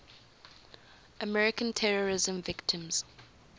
american terrorism victims